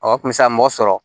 Ɔ o kun bɛ se ka mɔgɔ sɔrɔ